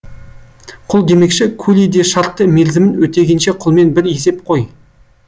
құл демекші кули де шартты мерзімін өтегенше құлмен бір есеп қой